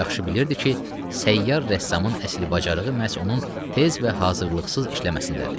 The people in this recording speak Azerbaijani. O yaxşı bilirdi ki, səyyar rəssamın əsli bacarığı məhz onun tez və hazırlıqsız işləməsindədir.